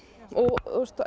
og